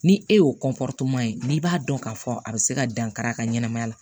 Ni e y'o ye n'i b'a dɔn k'a fɔ a bɛ se ka dankari a ka ɲɛnamaya la